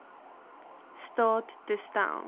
staat te stel